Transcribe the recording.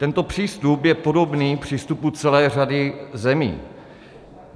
Tento přístup je podobný přístupu celé řady zemí.